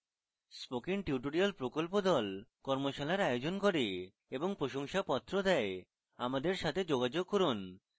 spoken tutorial প্রকল্প the কর্মশালার আয়োজন করে এবং প্রশংসাপত্র the আমাদের সাথে যোগাযোগ করুন